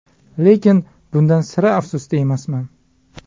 Lekin bundan sira afsusda emasman.